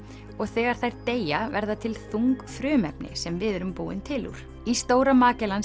og þegar þær deyja verða til þung frumefni sem við erum búin til úr í Stóra